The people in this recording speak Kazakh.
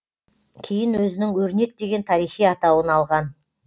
кейін өзінің өрнек деген тарихи атауын алған